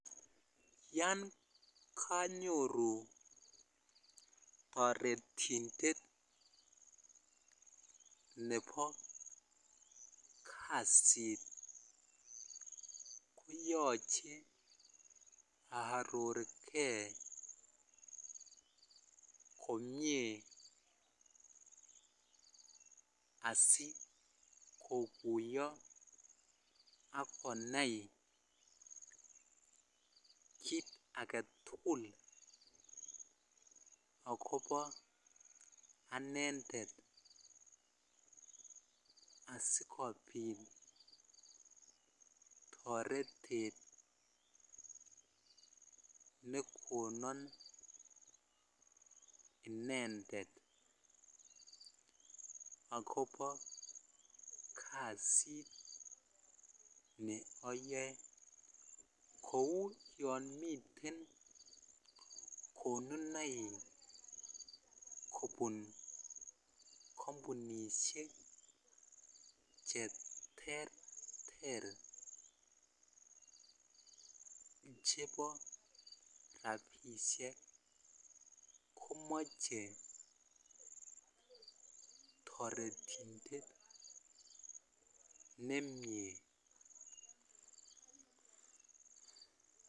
Yan ganyoru taretindet Nebo kasit koyache arorgei komie asikokuyo akonai kit agetugul akoba anendet asikobit taretet nekonan inendet akobo kasit neyae Kou yamiten konunoik kubun kambunishek cheterter chebo rabishek komache taretindet nemie